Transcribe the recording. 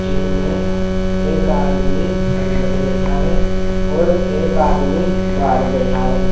जिसमें एक आदमी अंदर बैठा है और एक आदमी बाहर बैठा है।